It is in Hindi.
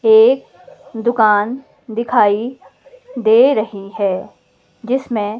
एक दुकान दिखाई दे रही है जिसमें--